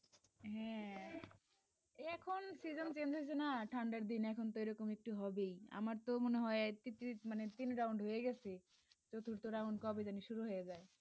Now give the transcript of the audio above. হ্যাঁ